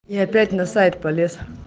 и опять на сайт полез